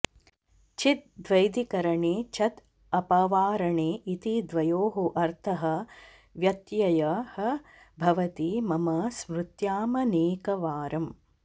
छिद् द्वैधिकरणे छद् अपवारणे इति द्वयोः अर्थः व्यत्ययः भवति मम स्मृत्यामनेकवारम्